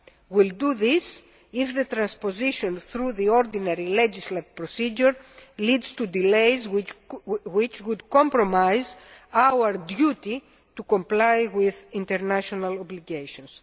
We will do this if transposition through the ordinary legislative procedure leads to delays which would compromise our duty to comply with international obligations.